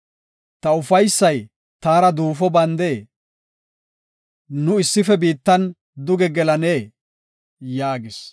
Ta ufaysay taara duufo bandee? Nu issife biittan duge gelanee?” yaagis.